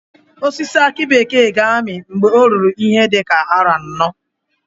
Osisi aki bekee ga-ami mgbe o ruru ihe dị ka aro anọ